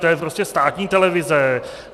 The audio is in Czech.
To je prostě státní televize.